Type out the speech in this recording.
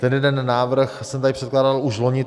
Ten jeden návrh jsem tady předkládal už loni.